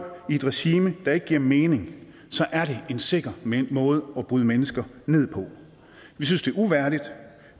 i et regime der ikke giver mening så er det en sikker måde at bryde mennesker ned på vi synes det er uværdigt